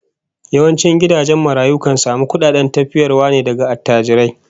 Yawancin gidajen marayu kan samu kudaden tafiyarwa ne daga attajirai